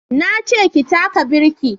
Na ce ki taka birki!